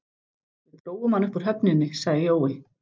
Við drógum hann upp úr höfninni, sagði Jói.